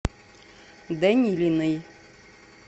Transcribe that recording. данилиной